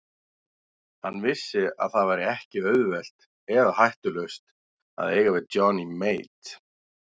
Hann vissi að það var ekki auðvelt eða hættulaust að eiga við Johnny Mate.